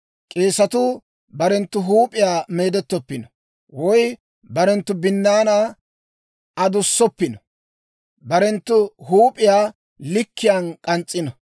«‹ «K'eesetuu barenttu huup'iyaa meedettoppino, woy barenttu binnaanaa adussoppino; barenttu huup'iyaa likkiyaan k'ans's'issino.